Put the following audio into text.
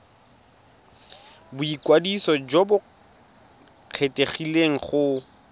boikwadiso jo bo kgethegileng go